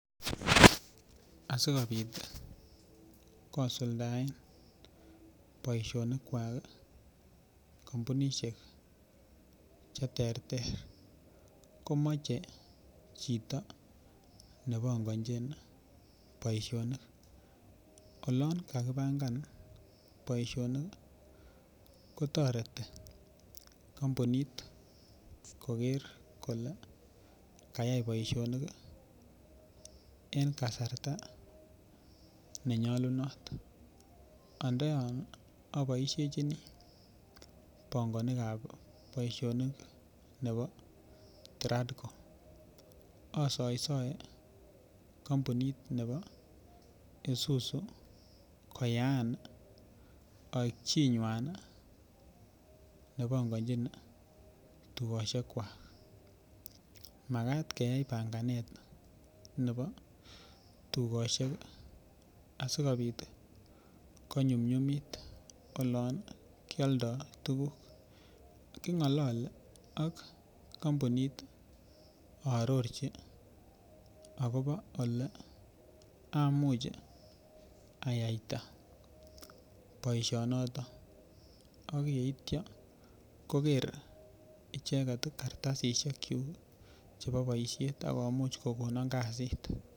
Asikobit kosuldaen boisionikwak kampunisiek Che terter komoche chito ne pangonchin boisionik olon kakipangan boisionik kotoreti kampunit koger kole kayai boisionik en kasarta ne nyolunot ando yon aboisiechini pongonikab boisionik nebo Tradco asaisae kompunit nebo Isuzu koyaan aek chinywan nebongojin tugosiekwak Magat keyai panganet nebo tugosiek asikobit konyumnyumit olon kealdoi tuguk kingolole ak kampunit ak aarorchi agobo Ole amuch ayaita boisionoto ak yeityo koger icheget kartasisyek kyuk chebo boisiet ak komuch kogonon kasit